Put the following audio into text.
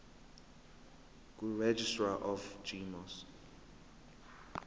kuregistrar of gmos